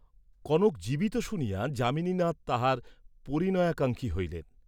কনক জীবিত শুনিয়া যামিনীনাথ তাহার পরিণয়াকাঙ্ক্ষী হইলেন।